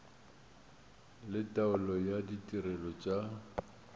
le taolo ya ditirelo tša